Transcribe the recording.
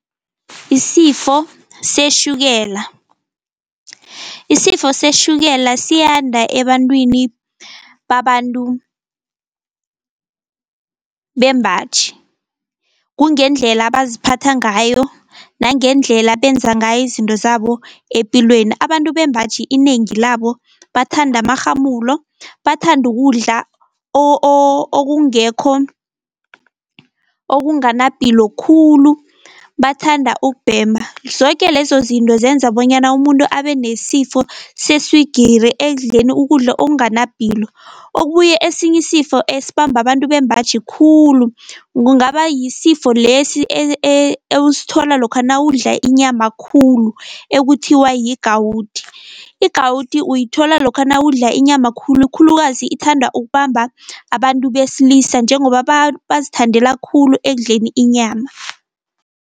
Isifo seshukela, isifo seshukela siyanda ebantwini babantu bembaji kungendlela abaziphatha ngayo, nangendlela benza ngayo izinto zabo epilweni. Abantu bembaji inengi labo bathanda amarhamulo, bathanda ukudla okungekho okunganapilo khulu, bathanda ukubhema. Zoke lezo zinto zenza bonyana umuntu abe nesifo seswigiri ekudleni ukudla okunganapilo. Okubuye esinye isifo esibamba abantu bembaji khulu kungaba yisifo lesi ewusithola lokha nawudla inyama khulu ekuthiwa yi-gout. I-gout uyithola lokha nawudla inyama khulu, khulukazi ithanda ukubamba abantu besilisa njengoba bazithandela khulu ekudleni inyama.